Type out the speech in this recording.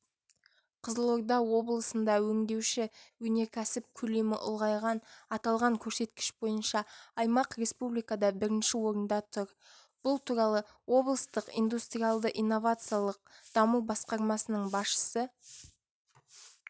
қызылорда облысында өңдеуші өнеркәсіп көлемі ұлғайды аталған көрсеткіш бойынша аймақ республикада бірінші орында тұр бұл туралы облыстық индустриялды-инновациялық даму басқармасының басшысы